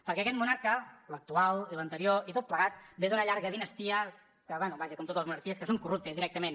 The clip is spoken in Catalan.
perquè aquest monarca l’actual i l’anterior i tot plegat ve d’una llarga dinastia que bé vaja com totes les monarquies que són corruptes directament